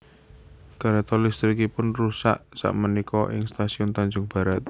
Kereto listrikipun rusak sak menika ing stasiun Tanjung Barat